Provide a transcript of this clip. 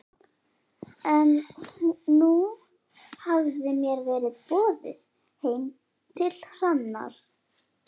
En nú hafði mér verið boðið heim til Hrannar.